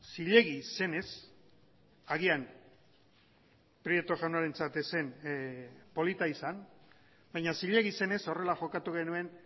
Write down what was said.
zilegiz zenez agian prieto jaunarentzat ez zen polita izan baina zilegi zenez horrela jokatu genuen